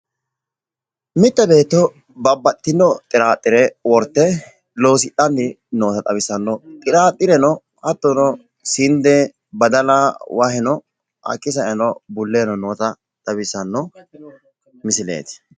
mitte beetto babaxitino xiraaxire worte loosidhanni noota xawissanno xiraaxireno hattono ,sinde, badala ,waheno, bulle noota xawissanno misileeti.